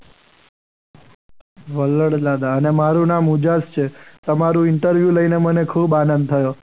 વડલા દાદા અને મારું નામ ઉજાસ છે. તમારું ઇન્ટરવ્યૂ લઈને મને ખૂબ આનંદ થયો.